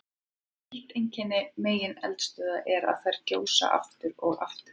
Eitt einkenni megineldstöðva er að þær gjósa aftur og aftur.